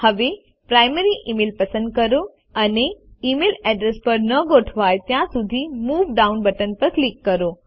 હવે primary email પસંદ કરો અને ઇમેલ અડ્રેસ પર ન ગોઠવાય ત્યાં સુધી મૂવ ડાઉન બટન પર ક્લિક કરો